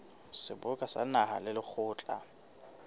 seboka sa naha le lekgotla